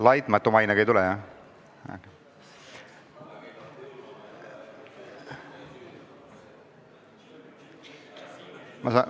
Laitmatu mainega ei tule, jah?